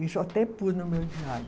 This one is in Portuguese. Isso eu até pus no meu diário.